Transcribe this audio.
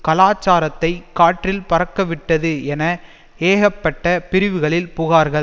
கலாச்சாரத்தை காற்றில் பறக்க விட்டது என ஏகப்பட்ட பிரிவுகளில் புகார்கள்